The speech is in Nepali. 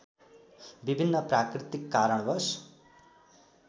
विभिन्न प्राकृतिक कारणवश